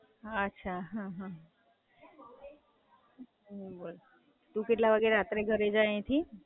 અચ્છા, હાં, હાં. બોલ, તું કેટલા વાગે રાતે ઘરે જાય અહિયાથી?